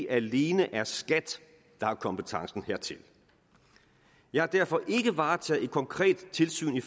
alene er skat der har kompetencen hertil jeg har derfor ikke varetaget et konkret tilsyn i